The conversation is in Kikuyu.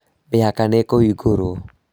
Mĩhaka nĩ ĩkũhingwo